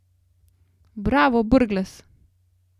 Bravo, Brglez!